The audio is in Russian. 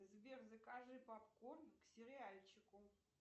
сбер закажи попкорн к сериальчику